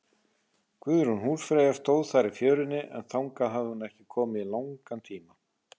Guðrún húsfreyja stóð þar í fjörunni, en þangað hafði hún ekki komið í langan tíma.